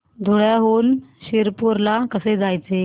धुळ्याहून शिरपूर ला कसे जायचे